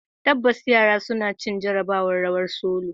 Tabbas, yaran sun ci jarabawar "rawar solo".